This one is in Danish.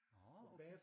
Nå okay